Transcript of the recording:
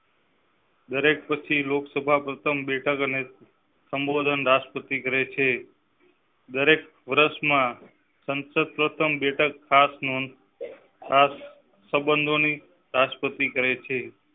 દરેક પછી લોકસભા પ્રથમ બેઠકને સંબોધન રાષ્ટ્રપતિ કરેં છે. દરેક વર્ષ માં સંસદ પ્રથમ બેઠક ખાસ મૂન સંબંધો ની રાષ્ટ્રપતિ કરેં છે.